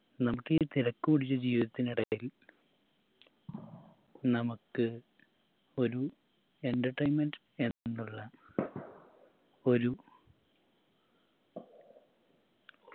നമുക്കീ തിരക്കു പിടിച്ച ജീവിതത്തിനിടയിൽ നമക്ക് ഒരു entertainment എന്നുള്ള ഒരു